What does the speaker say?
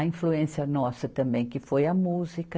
A influência nossa também, que foi a música.